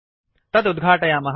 तत् उद्घाटयामः